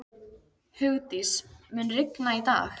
Hugdís, mun rigna í dag?